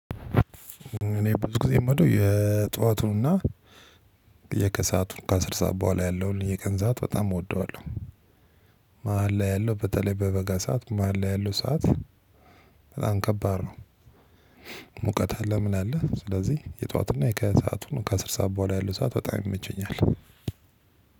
እኔ ብዙ ጊዜ የምወደው የጧቱንና የከሰአቱን ከአስር ሰዓት በኋላ ያለውን የቀን ሰዓት በጣም እወደዋለሁ። መሃል ላይ ያለው በተለይ በበጋ ሰዓት መሃል ላይ ያለው ሰዓት በጣም ከባድ ነው። ሙቀት አለ ምን አለ ስለዚህ የጧትና የከሰዐቱን ከአስር ሰዓት በኋላ ያሉ ሰዓት በጣም ይመቸኛል።